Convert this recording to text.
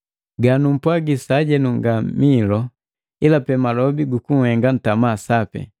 Ganumpwaji sajenu nga miilu, ila pe malobi gu kunhenga ntama sapi.